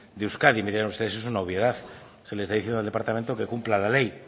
de euskadi me dirán ustedes que es una obviedad que le está diciendo al departamento que cumpla la ley